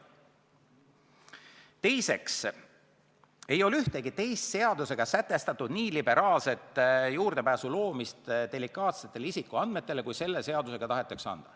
" Teiseks, ei ole ühtegi teist seadusega sätestatud nii liberaalset juurdepääsu loomist delikaatsetele isikuandmetele, kui selle seadusega tahetakse anda.